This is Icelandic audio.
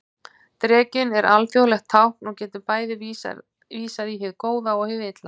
Drekinn er alþjóðlegt tákn og getur bæði vísað í hið góða og hið illa.